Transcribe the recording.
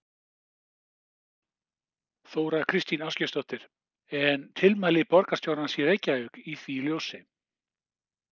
Þóra Kristín Ásgeirsdóttir: En tilmæli borgarstjórans í Reykjavík í því ljósi?